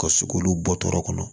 Ka se k'olu bɔ tɔɔrɔ kɔnɔ